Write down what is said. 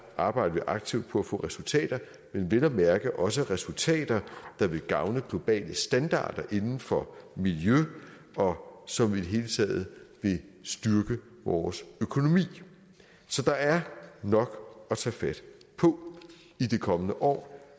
arbejder vi aktivt på at få resultater men vel at mærke også resultater der vil gavne globale standarder inden for miljø og som i det hele taget vil styrke vores økonomi så der er nok at tage fat på i de kommende år